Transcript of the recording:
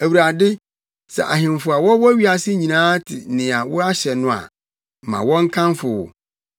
Awurade, sɛ ahemfo a wɔwɔ wiase nyinaa te nea woahyɛ no a, ma wɔnkamfo wo.